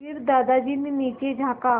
फिर दादाजी ने नीचे झाँका